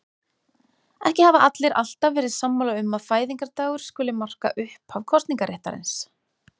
Ekki hafa allir alltaf verið sammála um að fæðingardagur skuli marka upphaf kosningaréttarins.